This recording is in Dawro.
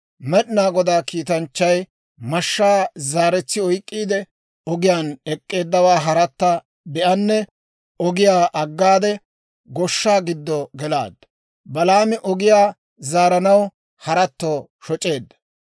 Med'inaa Godaa kiitanchchay mashshaa zaaretsi oyk'k'iide, ogiyaan ek'k'eeddawaa haratta be'anee, ogiyaa aggaade, goshshaa giddo gelaaddu. Balaami ogiyaa zaaranaw haratto shoc'eedda.